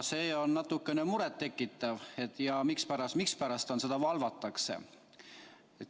See on natukene muret tekitav, miks seda valvatakse.